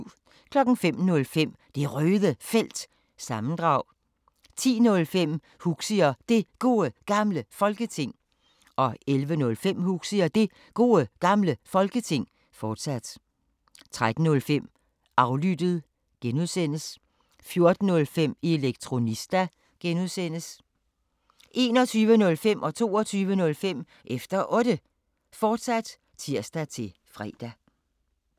05:05: Det Røde Felt – sammendrag 10:05: Huxi og Det Gode Gamle Folketing 11:05: Huxi og Det Gode Gamle Folketing, fortsat 13:05: Aflyttet (G) 14:05: Elektronista (G) 21:05: Efter Otte, fortsat (tir-fre) 22:05: Efter Otte, fortsat (tir-fre)